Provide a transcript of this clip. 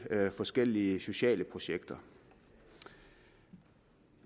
forskellige sociale projekter i